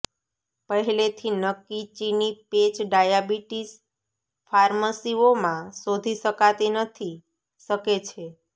પહેલેથી નક્કી ચિની પેચ ડાયાબિટીસ ફાર્મસીઓ માં શોધી શકાતી નથી શકે છે